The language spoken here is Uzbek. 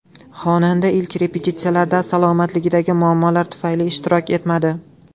Xonanda ilk repetitsiyalarda salomatligidagi muammolar tufayli ishtirok etmadi.